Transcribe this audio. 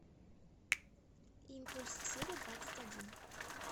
импульс серия двадцать один